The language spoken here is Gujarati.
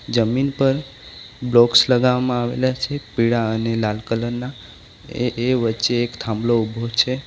જમીન પર બ્લોકસ લગાવવામાં આવેલા છે પીળા અને લાલ કલરના એ એ વચ્ચે એક થાંભલો ઊભો છે.